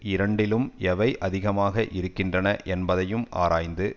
இரண்டிலும் எவை அதிகமாக இருக்கின்றன என்பதையும் ஆராய்ந்து